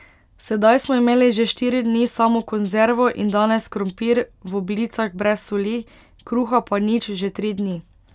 Sedaj smo imeli že štiri dni samo konzervo in danes krompir v oblicah brez soli, kruha pa nič že tri dni.